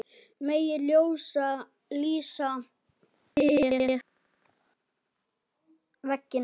Megi ljósið lýsa ykkur veginn.